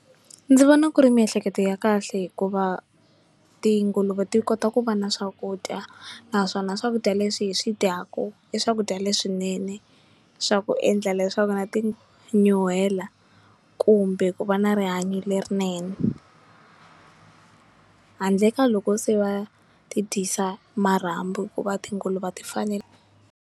Ndzi vona ku ri miehleketo ya kahle hikuva tinguluve ti kota ku va na swakudya naswona swakudya leswi hi swi dyaku i swakudya leswinene swa ku endla leswaku na ti nyuhela kumbe ku va na rihanyo lerinene handle ka loko se va ti dyisa marhambu hikuva tinguluve a ti fanele.